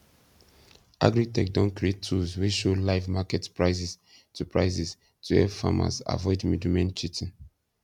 agritech don create tools wey show live market prices to prices to help farmers avoid middlemen cheating